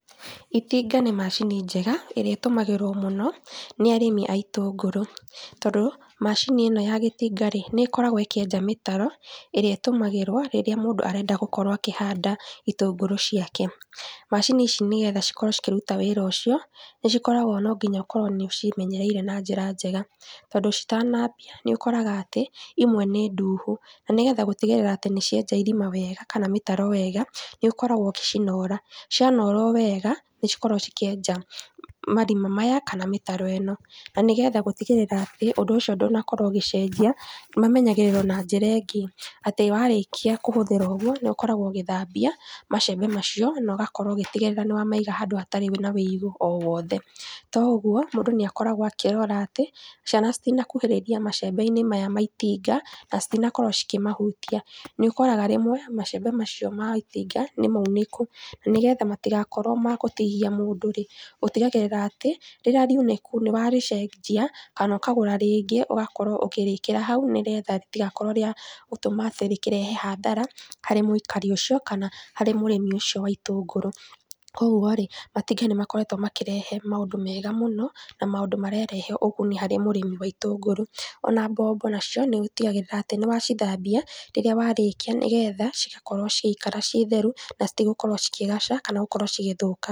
Itinga nĩ macini njega, ĩrĩa ĩtũmagĩrwo mũno nĩ arĩmi a itũngũrũ, tondũ, macini ĩno ya gĩtinga-rĩ, nĩkoragwo ĩkĩenja mĩtaro ĩrĩa ĩtũmagĩrwo rĩrĩa mũndũ arenda gũkorwo akĩhanda itũngũrũ ciake. Macini ici nĩgetha cikorwo cikĩruta wĩra ũcio, nĩcikoragwo nonginya ũkorwo nĩũciĩmenyereire na njĩra njega tondũ citanambia, nĩũkoraga atĩ imwe nĩ nduhu, nanĩgetha gũtigĩrĩra atĩ nĩcienja irima wega kana mĩtaro wega, nĩũkoragwo ũgicinora, cianorwo wega, nícikoragwo cikĩenja marima maya kana mĩtaro ĩno. Na nĩgetha gũtigĩrĩra atĩ, ũndũ ũcio ndũnakorwo ũgĩcenjia, mamenyagĩrĩrwo na njíra ĩngĩ, atĩ warĩkia kũhũthĩra ũguo, nĩũkoragwo ũgĩthambia, macembe macio, nogakorwo ũgĩtigĩrĩra nĩwamaiga handũ hatarĩ na wũigo o wothe. To ũguo, mũndũ nĩakoragwo akĩrora atĩ, ciana citinakuhĩrĩria macembe-inĩ maya ma itinga, na citinakorwo cikĩmahutia. Nĩũkoraga rĩmwe, macembe macio ma itinga nĩmaunĩku, na nĩgetha matigakorwo ma gũtihia mũndũ-rĩ, ũtigagĩrĩra atĩ, rĩrĩa riunĩku niwarĩcenjia nokagũra rĩngĩ ũgakorwo ũkĩrĩkira hau nĩgetha rĩtigakorwo atĩ rĩkĩrehe hathara harĩ mũikari ũcio kana harĩ mũrĩmi ũcio wa itũngũrũ. Koguo-rĩ matiki nĩmakoretwo makĩrehe maũndũ mega mũno na maũndũ mararehe ũguni harĩ mũrĩmi wa itũngũrũ, ona mbombo nacio nĩũtigagĩrĩra atĩ nĩwacithambia rĩrĩa warĩkia nĩgetha cigakorwo ciaikara ciĩ theru na citigũkorwo cikĩgaca kana gũkorwo cigĩthũka.